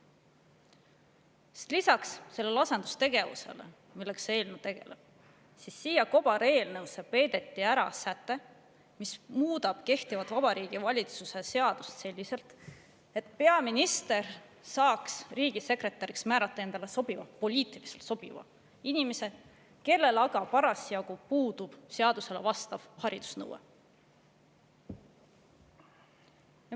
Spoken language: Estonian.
Sest lisaks sellele asendustegevusele, millega see eelnõu tegeleb, peideti siia kobareelnõusse ära säte, mis muudab kehtivat Vabariigi Valitsuse seadust selliselt, et peaminister saaks riigisekretäriks määrata endale sobiva – poliitiliselt sobiva – inimese, kellel aga parasjagu puudub seaduse haridusnõudele vastav.